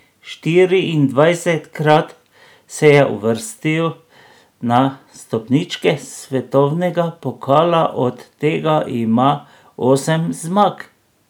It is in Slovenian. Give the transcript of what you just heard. Štiriindvajsetkrat se je uvrstil na stopničke svetovnega pokala, od tega ima osem zmag.